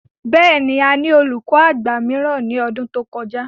Bẹ́ẹ̀ ni, a ní olùkọ àgbà mìíràn ní ọdún tí ó kọjá.